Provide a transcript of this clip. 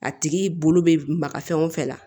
A tigi bolo bɛ maga fɛn o fɛn na